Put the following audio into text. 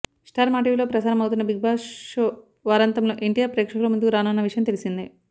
star మాటీవీలో ప్రసారం అవుతున్న బిగ్బాస్ షో వారాంతంలో ఎన్టీఆర్ ప్రేక్షకుల ముందుకు రానున్న విషయం తెల్సిందే